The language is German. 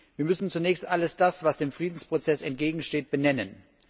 Wir müssen zunächst all das, was dem Friedensprozess entgegensteht, benennen.